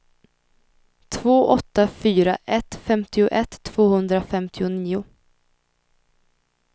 två åtta fyra ett femtioett tvåhundrafemtionio